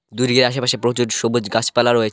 দূরে আশেপাশে প্রচুর সবুজ গাছপালা রয়েছে।